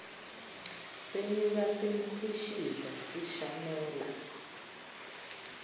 senyuka sikhwishiza sishanela